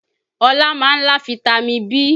Ọlá máa ń lá fitami B